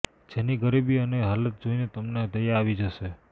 જેની ગરીબી અને હાલત જોઇને તમને દયા આવી જાશે